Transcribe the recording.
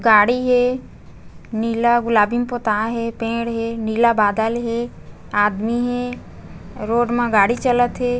गाड़ी हे नीला गुलाबी में पुताय हे पेड़ हे नीला बादल हे आदमी हे रोड मा गाड़ी चलत हे।